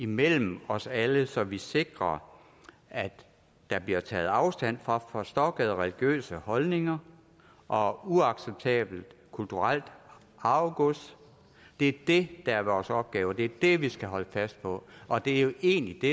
mellem os alle så vi sikrer at der bliver taget afstand fra forstokkede religiøse holdninger og uacceptabelt kulturelt arvegods det er det der er vores opgave det er det vi skal holde fast på og det er jo egentlig det